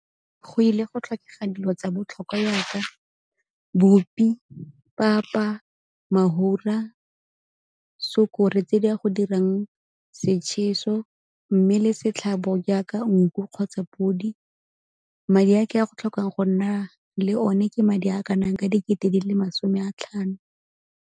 Go ile go tlhokega dilo tsa botlhokwa yaka bupi, papa, mafura tse di a go dirang setšheso mme le setlhabo jaaka nku kgotsa podi. Madi a ke a go tlhokang go nna le one ke madi a kanang ka dikete di le masome a tlhano.